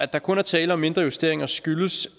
der kun er tale om mindre justeringer skyldes